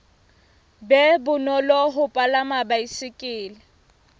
be bonolo ho palama baesekele